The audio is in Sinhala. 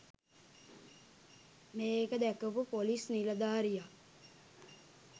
මේක දැකපු පොලිස් නිලධාරියා